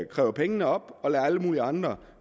kræver pengene op og lader alle mulige andre